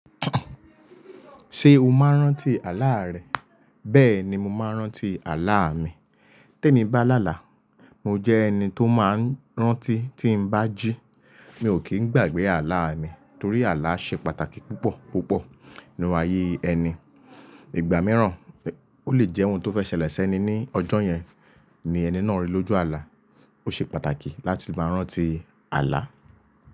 Ṣé o máa ń rántí àlá rẹ? Bẹ́ẹ̀ ni mo máa ń rántí àlá mi. Tèmi bá làlà, mo jẹ́ ẹni tó máa ń rántí tí ń bá jí. Mi ò kì í gbàgbé àlá mi torí àlá ṣe pàtàkì púpọ̀ púpọ̀ nínú ayé ẹni. Ìgbà mìíràn, ó lè jẹ́ ohun tó fẹ́ ṣẹlẹ̀ sẹ́ni ní ọjọ́ yẹn ni ẹni náà rí lójú àlá. Ó ṣe pàtàkì láti máa rántí àlá.